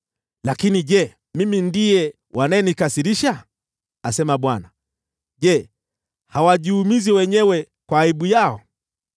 Lakini je, mimi ndiye wanayenikasirisha? asema Bwana . Je, hawajiumizi wenyewe na kujiaibisha?